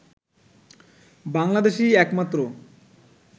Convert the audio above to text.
বাংলাদেশই একমাত্র